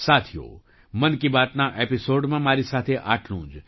સાથીઓ મન કી બાતના આ એપિસૉડમાં મારી સાથે આટલું જ